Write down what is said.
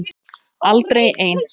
Aldrei ein